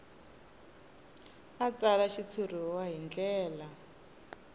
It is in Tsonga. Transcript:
a tsala xitshuriwa hi ndlela